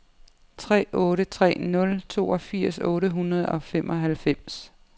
tre otte tre nul toogfirs otte hundrede og femoghalvfems